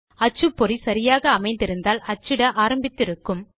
அச்சுப்பொறி சரியாக அமைந்திருந்தால் அச்சிட ஆரம்பித்து இருக்கும்